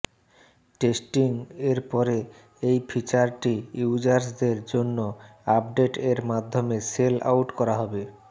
testing এর পরে এই ফিচারটি ইউজার্সদের জন্য আপডেট এর মাধ্যমে সেল আউট করা হবে